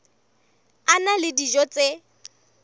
a na le dijo tse